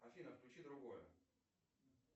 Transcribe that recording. афина включи другое